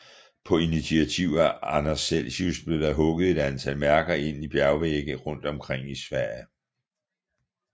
På initiativ af Anders Celsius blev der hugget et antal mærker ind i bjergvægge rundt omkring i Sverige